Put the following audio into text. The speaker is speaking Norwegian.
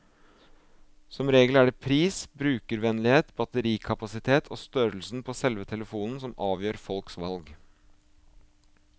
Som regel er det pris, brukervennlighet, batterikapasitet og størrelsen på selve telefonen som avgjør folks valg.